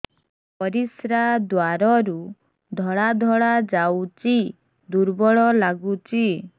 ପରିଶ୍ରା ଦ୍ୱାର ରୁ ଧଳା ଧଳା ଯାଉଚି ଦୁର୍ବଳ ଲାଗୁଚି